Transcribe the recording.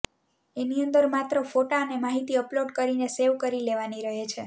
એની અંદર માત્ર ફોટા અને માહિતી અપલોડ કરીને સેવ કરી લેવાની રહે છે